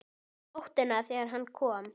Um nóttina þegar hann kom.